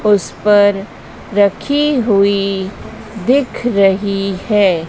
उस पर रखी हुई दिख रही है।